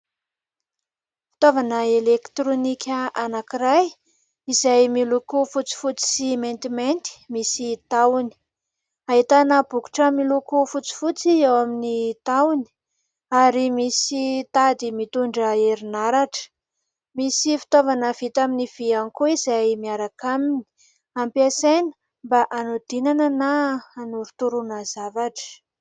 Fitaovana elektronika anankiray izay miloko fotsifotsy sy maintimainty, misy tahony. Ahitana bokotra miloko fotsifotsy eo amin'ny tahony ary misy tady mitondra herinaratra. Misy fitaovana vita amin'ny vy ihany koa izay miaraka aminy, ampiasaina mba hanodinana na hanorotoroana zavatra.